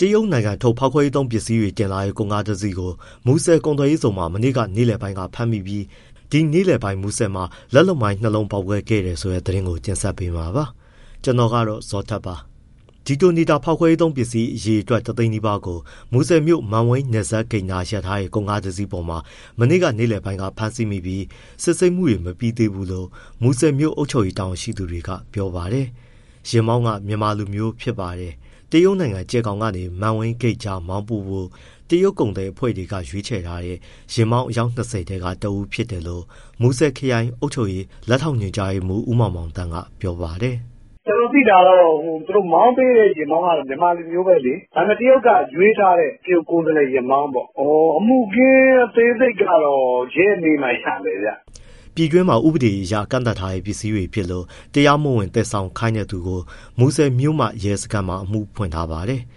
တရုတ်နိုင်ငံထုတ် ဖောက်ခွဲရေးသုံးပစ္စည်းတွေ တင်လာတဲ့ ကုန်ကားတစီးကို မူဆယ်ကုန်သွယ်ရေးဇုန်မှာ မနေ့က နေ့လယ်ပိုင်းက ဖမ်းမိပြီး ဒီနေ့လယ်ပိုင်း မူဆယ်မှာ လက်လုပ်မိုင်း နှစ်လုံးပေါက်ကွဲခဲ့တယ်ဆိုတဲ့ သတင်းကို ဗွီအိုအေမြန်မာပိုင်းသတင်းထောက် ကိုဇော်ထက်က တင်ဆက်ပေးပါမယ်။ Detonator ဖောက်ခွဲရေးသုံးပစ္စည်း အရေအတွက် ၁၀၀,၀၀၀ နီးပါးကို မူဆယ်မြို့ မန်ဝိန်းနယ်စပ်ဂိတ်နား ရပ်ထားတဲ့ ကုန်ကားပေါ်မှာ မနေ့က နေ့လယ်ပိုင်းက ဖမ်းဆီးမိပြီး စစ်ဆေးမှုတွေ မပြီးသေးဘူးလို့ မူဆယ်မြို့ အုပ်ချုပ်ရေး တာဝန်ရှိသူတွေက ပြောပါတယ်။ ယာဉ်မောင်းက မြန်မာလူမျိုးဖြစ်ပါတယ်။ တရုတ်နိုင်ငံ ကြယ်ဂေါင်ကနေ မန်းဝိန်းဂိတ်ကြားမောင်းပို့ဖို့ တရုတ်ကုန်သည်အဖွဲ့တွေ ရွေးထားတဲ့ ယာဉ်မောင်း အယောက် ၂၀ ထဲက တဦးဖြစ်တယ်လို့ မူဆယ်ခရိုင်အုပ်ချုပ်ရေး လက်ထောက်ညွှန်မှူး ဦးမောင်မောင်သန်းက ပြောပါတယ်။ “ကျနော်သိတာကတော့ မောင်းပေးတဲ့ ယာဉ်မောင်းကတော့ မြန်မာလူမျိုးပဲလေ။ ဒါပေမဲ့ တရုတ်က ရွေးထားတဲ့ တရုတ်ကိုယ်စားလှယ်ယာဉ်မောင်းပေါ့။ အမှုအခင်း အသေးစိတ်ကတော့ ရဲမေးမှ ရမယ်ဗျ။” ပြည်တွင်းမှာ ဥပဒေအရ ကန့်သတ်ထားတဲ့ ပစ္စည်းတွေဖြစ်လို့ တရားမဝင် သယ်ဆောင်ခိုင်းတဲ့သူကို မူဆယ်မြို့မရဲစခန်းမှာ အမှုဖွင့်ထားပါတယ်။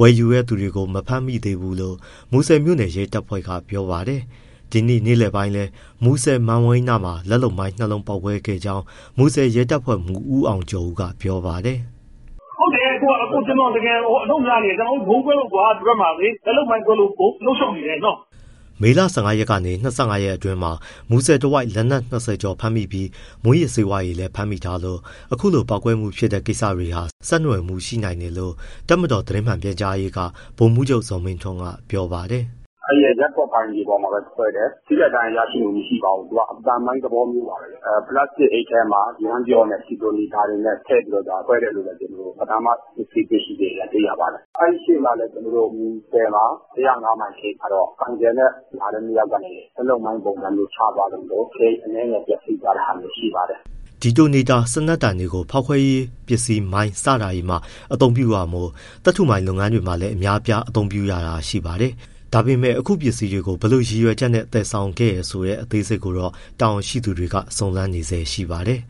ဝယ်ယူတဲ့သူကို မဖမ်းမိသေးဘူးလို့ မူဆယ်မြို့နယ် ရဲတပ်ဖွဲ့က ပြောပါတယ်။ ဒီနေ့နေ့လယ်ပိုင်းလည်း မူဆယ် မန်ဝိန်းနားမှာ လက်လုပ်မိုင်း နှစ်လုံးပေါက်ခဲ့ကြောင်း မြို့နယ်ရဲတပ်ဖွဲ့မှူး ဦးအောင်ကျော်ဦး ကပြောပါတယ်။ “ဟုတ်တယ်။ ကျနော်တို့ တကယ်ကို အလုပ်များနေတယ်။ ကျနော်တို့ ဗုံးကွဲလို့ ဒီဘက်မှာ လက်လုပ်မိုင်းကွဲလို့ အလုပ်ရှုပ်နေတယ်နော်။” မေလ ၁၅ ရက်ကနေ ၂၅ ရက်အတွင်းမှာ မူဆယ်တဝိုက်မှာ လက်နက် ၂၀ ကျော်ဖမ်းမိပြီး မူးယစ်ဆေးဝါးတွေလည်း ဖမ်းမိထားလို့ အခုလိုပေါက်ကွဲမှုဖြစ်တဲ့ ကိစ္စတွေဟာ ဆက်နွယ်မှုရှိနိုင်တယ်လို့ တပ်မတော်သတင်းမှန်ပြန်ကြားရေးက ဗိုလ်မှူးချုပ် ဇော်မင်းထွန်းက ပြောပါတယ်။ “အဲဒီရပ်ကွက်ပိုင်မြေပေါ်မှာ ကွဲတယ် ထိခိုက်ဒဏ်ရာရရှိမှု မရှိပါဘူး၊ သူက အသံမိုင်းသဘောမျိုးပါပဲ။ ပလတ်စတစ်အိတ်ထဲမှာ ယမ်းပျော့နဲ့ ဒီတိုနေတာ ထည့်ပြီးတော့မှ ခွဲတယ်လို့ ပဏာမ စစ်ဆေးချက်အရ သိရပါတယ်။ အဲဒီရှေ့မှာလည်း မူဆယ် ၁၀၅ မိုင်ဂိတ်မှာတော့ ဆိုင်ကယ်နဲ့ လာတဲ့ နှစ်ယောက်ကနေ လက်လုပ်မိုင်းပုံစံမျိုး ချသွားလို့ ဂိတ်အနည်းငယ် ပျက်စီးသွားတာလည်း ရှိပါတယ်။” Detonator စံနက်တံတွေကို ဖေါက်ခွဲရေးပစ္စည်း မိုင်း စတာတွေမှာ အသုံးပြုတာမို့၊ သတ္ထုမိုင်းလုပ်ငန်းတွေမှာလည်း အများအပြား အသုံးပြုရတာရှိပါတယ်။ ဒါပေမဲ့ အခု ပစ္စည်းတွေကို ဘယ်လိုရည်ရွယ်ချက်နဲ့ သယ်ဆောင်သလဲဆိုတဲ့ အသေးစိတ်ကိုတော့ တာဝန်ရှိသူတွေ စုံစမ်းနေဆဲရှိပါတယ်